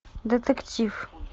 детектив